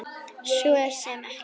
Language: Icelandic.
Svo sem ekkert.